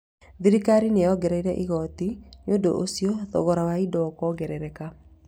Thirikari nĩ yongereire igooti nĩ ũndũ ũcio thogora wa indo ũkongerereka